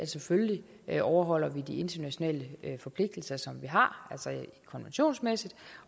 selvfølgelig overholder de internationale forpligtelser som vi har rent konventionsmæssigt